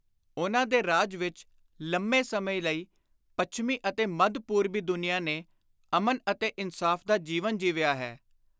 ਉਨ੍ਹਾਂ ਦੇ ਰਾਜ ਵਿਚ ਲੰਮੇ ਸਮੇਂ ਲਈ ਪੱਛਮੀ ਅਤੇ ਮੱਧ-ਪੂਰਬੀ ਦੁਨੀਆਂ ਨੇ ਅਮਨ ਅਤੇ ਇਨਸਾਫ਼ ਦਾ ਜੀਵਨ ਜੀਵਿਆ ਹੈ।